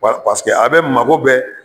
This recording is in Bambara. Wati, paseke a bɛ mabɔ bɛɛ